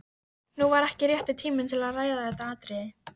Nú var ekki rétti tíminn til að ræða þetta atriði.